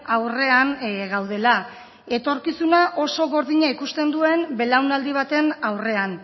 aurrean gaudela etorkizuna oso gordina ikusten duen belaunaldi baten aurrean